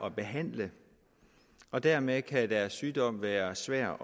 at behandle og dermed kan deres sygdom være svær